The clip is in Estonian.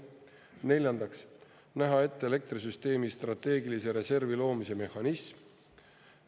Neljandaks, näha ette elektrisüsteemi strateegilise reservi loomise mehhanism.